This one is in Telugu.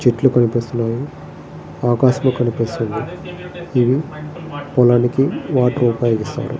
చెట్లు కనిపిస్తున్నాయి. ఆకాశం కనిపిస్తున్నది. ఇవీ పొలానికి వాటర్ ఉపయోగిస్తారు.